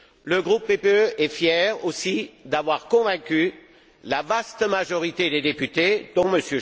Le groupe PPE est fier aussi d'avoir convaincu la vaste majorité des députés, dont M.